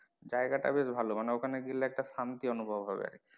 জায়গা টা বেশ ভালো মানে ওখানে গেলে একটা শান্তি অনুভব হবে।